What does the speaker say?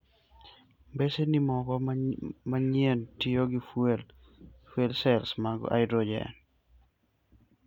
Mbeseni moko manyien tiyo gi fuel cells mag hydrogen.